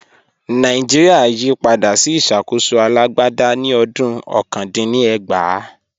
Nàìjíríà yí padà sí ìṣàkóso alágbádá ní ọdún ọ̀kan dín ní ẹgbàá